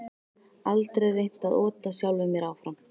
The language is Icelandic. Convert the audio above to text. Aldrei reynt að ota sjálfum mér áfram